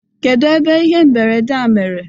kedu ebe ihe mberede a mere